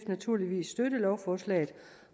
naturligvis støtte lovforslaget